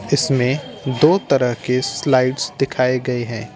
इसमे दो तरह के स्लाईड दिखाए गये हैं।